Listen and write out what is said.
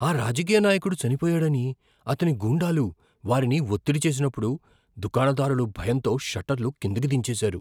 ఆ రాజకీయ నాయకుడు చనిపోయాడని అతని గూండాలు వారిని ఒత్తిడి చేసినప్పుడు దుకాణదారులు భయంతో షట్టర్లు కిందికి దించేసారు.